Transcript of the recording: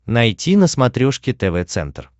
найти на смотрешке тв центр